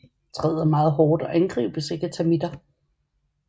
Træet er meget hårdt og angribes ikke af termitter